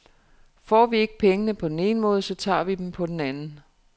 Får vi ikke pengene på den ene måde, så tager vi dem på den anden.